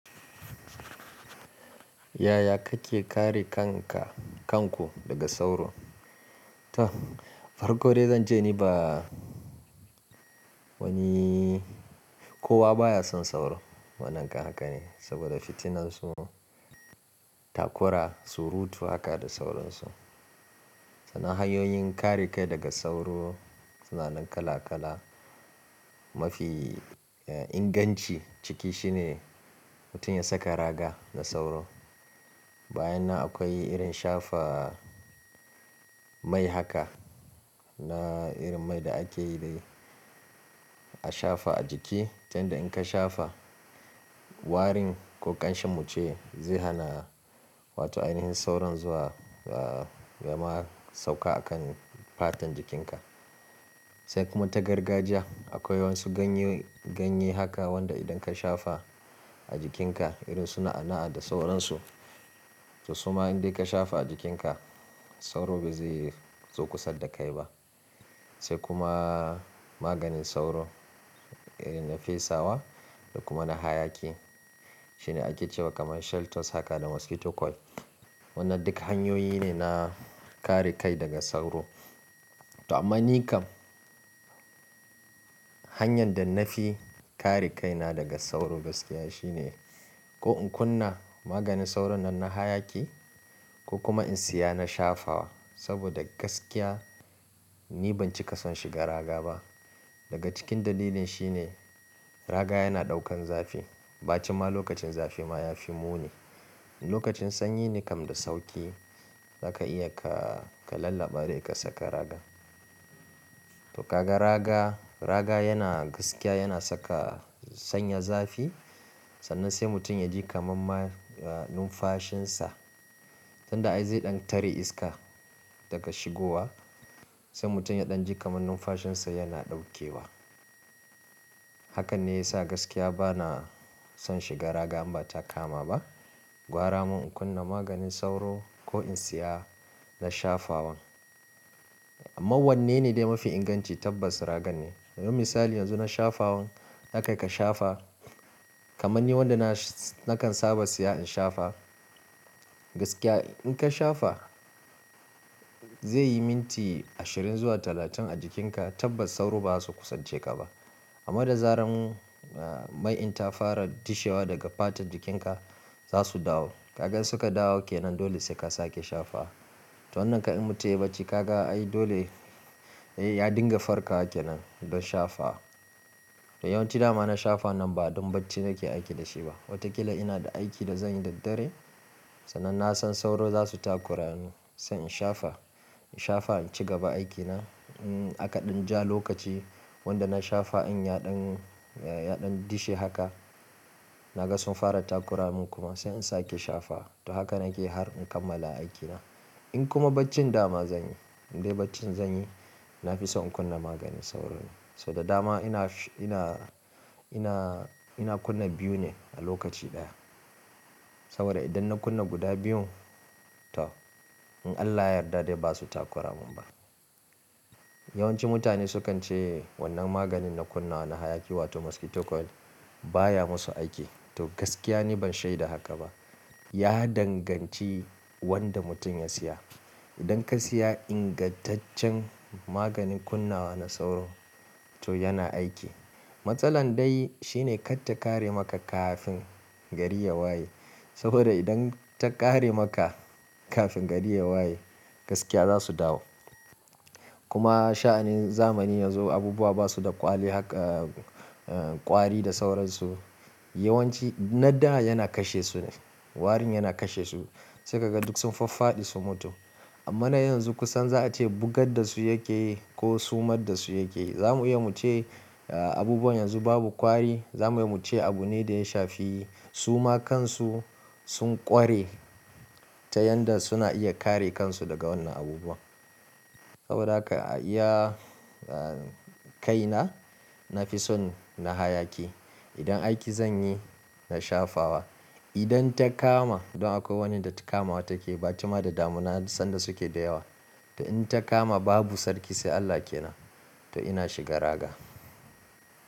Yaya kake kare kanka, kanku daga sauro? To, farko dai zan je ni ba wani, kowa baya son sauro. Wannan kan haka ne saboda fitinan su, takura, surutu haka da sauransu. Sanin hanyoyin kare kai daga sauro, suna nan kala-kala mafi, eh, inganci ciki shine mutum ya saka raga da sauro. Bayan nan akwai irin shafa mai haka, na irin mai da ake yi dai a shafa a jiki. Tan da in ka shafa warin ko ƙanshen muce zai hana, wato ainihin sauron zuwa, ah, ya ma sauka a kan fatan jikinka. Sai kuma ta gargajiya akwai wasu ganye, ganye haka wanda idan ka shafa a jikinka irin suna'a'a da sauransu. To suma in dai ka shafa a jikinka sauro ba zai zo kusa da kai ba. Sai kuma maganin sauro irin na fesawa da kuma na hayaki. Shine ake cewa kamar shell toes haka da mosquito coil. Wannan duk hanyoyi ne na kare kai daga sauro. To amma ni kam hanyar da na fi kare kai na daga sauro gaskiya shine ko in kunna maganin sauron nan na hayaki ko kuma in siya na shafawa. Saboda gaskiya ni ban cika son shiga raga ba. Daga cikin dalilin shine raga yana ɗaukan zafi ba cima lokacin zafi ma ya fi muni. Lokacin sanyi ne kam da sauƙi zaka iya ka, ka lallaba dai ka saka raga. To kaga raga, raga gaskiya yana saka sanya zafi sannan sai mutum yaji kamar numfashin sa tunda ai zaya tare iska dafa shigowa sai mutum yaji kamar numfashin sa yana daukewa. Hakan ne ya sa gaskiya ba na son shiga raga in ba ta kama ba. Gwara mun in kunna maganin sauro ko in siya na shafawan. Amma wannan ne dai mafi inganci tabbas raga ne. Don misali yanzu na shafawan haka ka shafa kamar ni wanda na, na kan saba siya in shafa. Gaskiya in ka shafa zai yi minti ashirin zuwa talatin a jikinka tabbas sauro ba zasu kusa je ka ba. Amma da zaran, ah, mai in ta fara dishewa daga fatan jikinka za su dawo. Ka ga suka dawo ke nan dole sai ka sake shafa. To wannan ka'in mutum ya yi bacci ka ga ai dole, eh, ya dinga farko ake nan don shafa. To yawanci dama na shafa nan ba don bacci nake aiki da shi ba. Wataƙila ina da aiki da zan yi da dare sannan na san sauro za su takura ni sai in shafa, in shafa in ci gaba aikina. Um, aka ɗan ja lokaci wanda na shafa in ya ɗan, ya ɗan dishe haka naga sun fara takura mun kuma sai in sake shafa. To haka nake har in kammala aikina. In kuma baccin dama zanyi, dai bacci zanyi na fi son in kunna maganin sauron. Saboda dama ina, ina, ina, ina kunna biyu ne a lokaci ɗaya. Saboda idan na kunna guda biyun to in Allah ya yarda dai ba su takura mun ba. Yawanci mutane sukan ce wannan maganin na kunna na hayaki wato mosquito coil baya musu aiki. To gaskiya ni ban shaida haka ba. Ya danganci wanda mutum ya siya. Idan ka siya ingantaccen maganin kunna na sauro to yana aiki. Matsalar dai shine kar ta ƙare maka kafin gari ya waye. Saboda idan ta ƙare maka kafin gari ya waye gaskiya za su dawo. Kuma sha'anin zamani yanzu abubuwa basu da kwali haka, eh, kwari da sauransu. Yawanci na da yana kashe su ne, warin yana kashe su. Sai ka ga duk sun faffadi sun mutu. Amma na yanzu kusan za'a ce bugar dasu yake yi ko sumar dasu yake yi zamu iya cewa abubuwan yanzu babu kwari. Zamu iya cewa abu ne da ya shafi suma kansu sun kware ta yanda suna iya kare kansu daga wadannan abubuwan saboda haka iya, ah, kai na, na fi son na hayaki. Idan aiki zanyi na shafawa. Idan ta kama don akwai wani da ta kama wa take ba cima da damuna sanda suke da yawa. To in ta kama babu sarki sai Allah ke nan. To ina shiga raga.